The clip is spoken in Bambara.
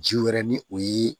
Ji wɛrɛ ni o ye